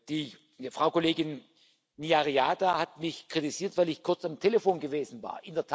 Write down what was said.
Die Frau Kollegin Ní Riada hat mich kritisiert, weil ich kurz am Telefon gewesen war.